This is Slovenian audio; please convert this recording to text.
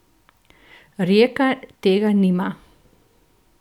Rijeka tega nima.